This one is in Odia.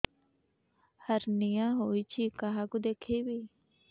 ହାର୍ନିଆ ହୋଇଛି କାହାକୁ ଦେଖେଇବି